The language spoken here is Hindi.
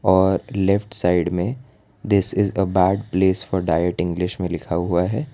और लेफ्ट साइड में this is a bad place for diet English में लिखा हुआ है।